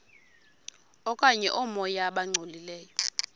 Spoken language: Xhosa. okanye oomoya abangcolileyo